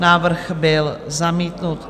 Návrh byl zamítnut.